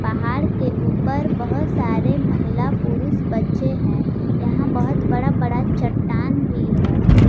पहाड़ के ऊपर बहोत सारे महिला पुरुष बच्चे हैं यहां बहोत बड़ा बड़ा चट्टान भी है।